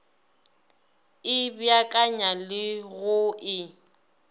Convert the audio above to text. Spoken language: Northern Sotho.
e beakanya le go e